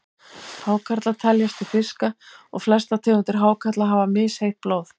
Hákarlar teljast til fiska og flestar tegundir hákarla hafa misheitt blóð.